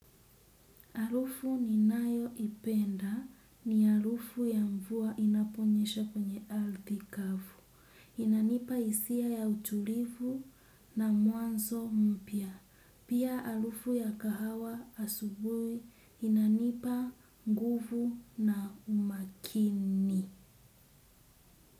Harufu ninayoipenda ni harufu ya mvua inaponyesha kwenye ardhi kavu. Inanipa hisia ya utulivu na mwanzo mpya. Pia harufu ya kahawa asubuhi inanipa nguvu na umakini.